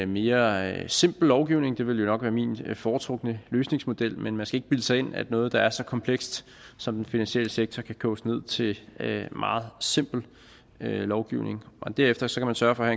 mere simpel lovgivning det ville nok være min foretrukne løsningsmodel men man skal ikke bilde sig ind at noget der er så komplekst som den finansielle sektor kan koges ned til en meget simpel lovgivning derefter skal man sørge for at